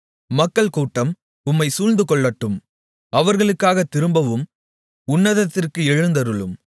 மக்கள்கூட்டம் உம்மைச் சூழ்ந்துகொள்ளட்டும் அவர்களுக்காகத் திரும்பவும் உன்னதத்திற்கு எழுந்தருளும்